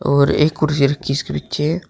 और एक कुर्सी रखी इसके पीछे--